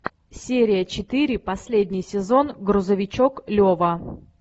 серия четыре последний сезон грузовичок лева